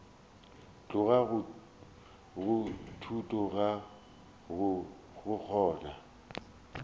tloga go thuto go kgona